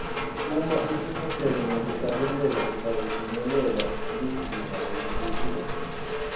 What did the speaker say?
uma utimisele ngekuhlabela utawufinyelela lizinga lelisetulu